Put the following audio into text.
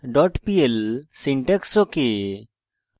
conditionalblocks pl syntax ok